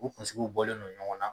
U kunsigiw bɔlen don ɲɔgɔn na